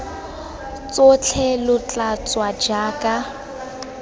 tsotlhe lo tla tswa jaaka